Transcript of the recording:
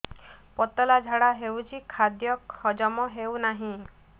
ପତଳା ଝାଡା ହେଉଛି ଖାଦ୍ୟ ହଜମ ହେଉନାହିଁ